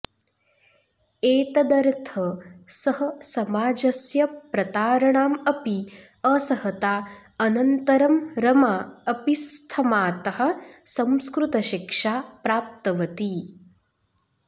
एतदर्थ सः समाजस्य प्रतारणाम् अपि असहता अनन्तरं रमा अपि स्थमातः संस्कृतशिक्षा प्राप्तवती